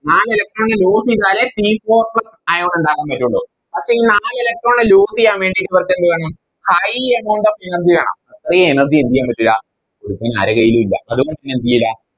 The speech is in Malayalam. നാല് Electron നെ Loss ചെയ്താലേ C fourth ion ഉണ്ടാകാൻ പറ്റുള്ളൂ അപ്പോയി നാല് Electron നെ Loss ചെയ്യാൻ വേണ്ടി ഇവർക്കെന്ത് വേണം High amount of energy വേണം ഈ Energy എന്തെയ്യൻ പറ്റില്ല ഇപ്പൊ ആരെ കയ്യിലും ഇല്ല അത്കൊണ്ടന്നെ എന്തേയ്‌ലാ